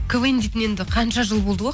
квн дейтін енді қанша жыл болды ғой